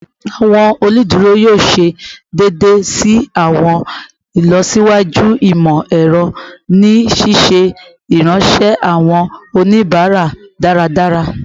Awọn oluduro yoo ṣee ṣe deede si awọn ilọsiwaju imọ-ẹrọ ni ṣiṣe iranṣẹ awọn onibara daradara